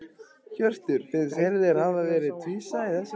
Hjörtur: Finnst þér þeir hafi verið tvísaga í þessu máli?